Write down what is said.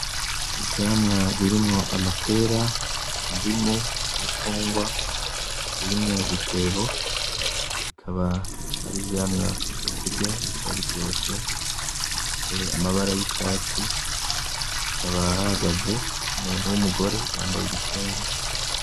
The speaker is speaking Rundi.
Ivyamwa birimwo amapera, indimu, imicungwa, biri mu dutebo. Bikaba ari ivyamwa vyo kurya bikaba biryoshe. Bifise amabara y'icatsi, hakaba hahagaze umuntu w'umugore yambaye igitenge.